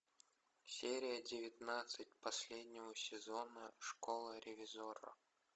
серия девятнадцать последнего сезона школа ревизорро